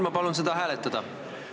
Ma palun seda hääletada!